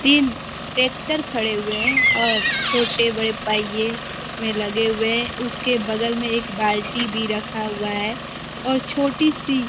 तीन टैक्टर खड़े हुए हैं और छोटे बड़े पहिये उसमे लगे हुए उसके बगल में एक बाल्टी भी रखा हुआ है और छोटी सी --